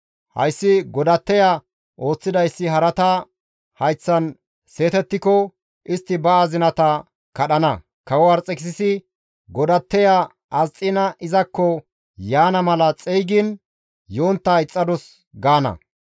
Hayssi godatteya ooththidayssi harata hayththan seetettiko istti ba azinata kadhana; ‹Kawo Arxekisisi godatteya Asxiina izakko yaana mala xeygiin yontta ixxadus› gaana.